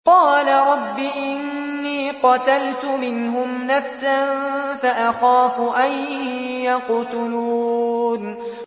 قَالَ رَبِّ إِنِّي قَتَلْتُ مِنْهُمْ نَفْسًا فَأَخَافُ أَن يَقْتُلُونِ